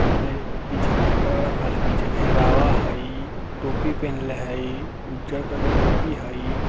प्ले पीछे कपड़ा रखल हय पीछे घेरावा हइ टोपी पिन्हले हइ उज्जर कलर के टोपी हइ।